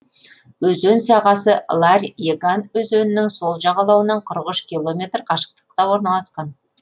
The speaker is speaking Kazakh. өзен сағасы ларь еган өзенінің сол жағалауынан қырық үш километр қашықтықта орналасқан